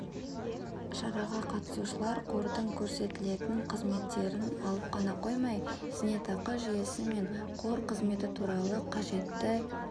шараға қатысушылар қордың көрсетілетін қызметтерін алып қана қоймай зейнетақы жүйесі мен қор қызметі туралы қажетті